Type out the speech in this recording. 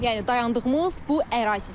Yəni dayandığımız bu ərazidə.